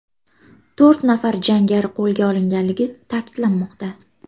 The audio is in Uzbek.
To‘rt nafar jangari qo‘lga olinganligi ta’kidlanmoqda.